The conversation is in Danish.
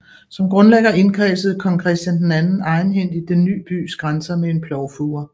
Som grundlægger indkredsede kong Christian II egenhændigt den ny bys grænser med en plovfure